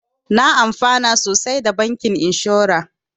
Na amfana sosai da bankin inshora